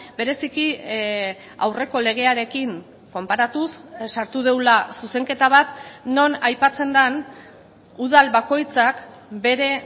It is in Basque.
bereziki aurreko legearekin konparatuz sartu dugula zuzenketa bat non aipatzen den udal bakoitzak bere